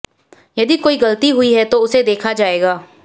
यदि कोई गलती हुई है तो उसे देखा जाएगा